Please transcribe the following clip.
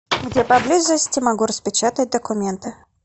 где поблизости могу распечатать документы